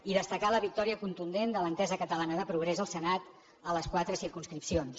i destacar la victòria contundent de l’entesa catalana de progrés al senat en les quatre circumscripcions